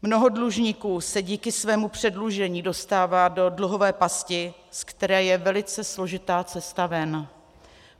Mnoho dlužníků se díky svému předlužení dostává do dluhové pasti, ze které je velice složitá cesta ven.